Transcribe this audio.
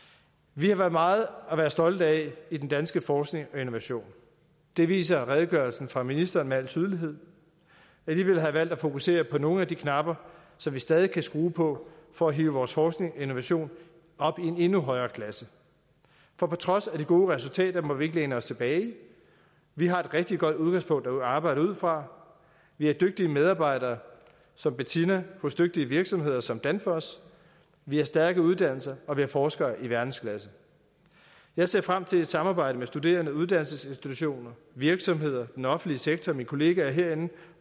vi har meget at være stolte af i den danske forskning og innovation det viser redegørelsen fra ministeren med al tydelighed alligevel har jeg valgt at fokusere på nogle af de knapper som vi stadig kan skrue på for at hive vores forskning og innovation op i en endnu højere klasse for på trods af de gode resultater må vi ikke læne os tilbage vi har et rigtig godt udgangspunkt at arbejde ud fra vi har dygtige medarbejdere som bettina hos dygtige virksomheder som danfoss vi har stærke uddannelser og vi har forskere i verdensklasse jeg ser frem til samarbejdet med studerende og uddannelsesinstitutioner virksomheder den offentlige sektor mine kolleger herinde